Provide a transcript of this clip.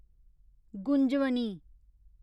Gunjavani